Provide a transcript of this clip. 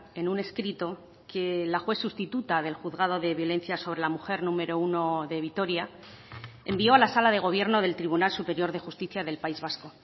en un escrito que la juez sustituta del juzgado de violencia sobre la mujer número uno de vitoria envió a la sala de gobierno del tribunal superior de justicia del país vasco